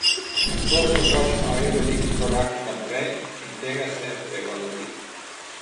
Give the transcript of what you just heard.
To so pač novi veliki koraki naprej in tega se je treba lotiti.